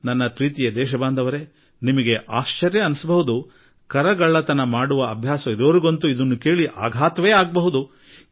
ಮತ್ತೆ ನನ್ನ ಆತ್ಮೀಯ ದೇಶವಾಸಿಗಳೇ ನಿಮಗೆ ಅಚ್ಚರಿ ಆಗಬಹುದು ಹಾಗೂ ತೆರಿಗೆಗಳ್ಳತನದ ಹವ್ಯಾಸವಿದ್ದವರಿಗಂತೂ ದೊಡ್ಡ ಆಘಾತವೇ ಆಗಬಹುದು